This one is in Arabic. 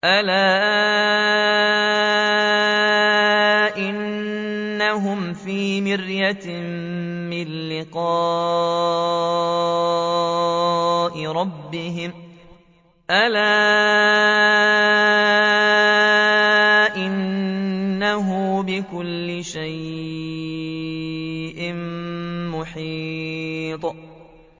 أَلَا إِنَّهُمْ فِي مِرْيَةٍ مِّن لِّقَاءِ رَبِّهِمْ ۗ أَلَا إِنَّهُ بِكُلِّ شَيْءٍ مُّحِيطٌ